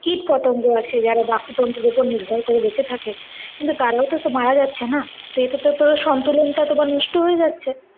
কীটপতঙ্গ আছে যারা বাস্তুতন্ত্রের ওপর নির্ভর করে বেঁচে থাকে কিন্তু তারাও তো, তো মারা যাচ্ছে না। তো এতে তো তোমার সন্তুলন টা নষ্ট হয়ে যাচ্ছে।